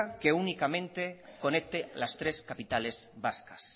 que únicamente conecte las tres capitales vascas